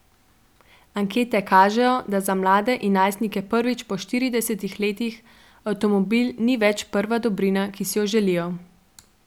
Ankete kažejo, da za mlade in najstnike prvič po štiridesetih letih avtomobil ni več prva dobrina, ki si jo želijo.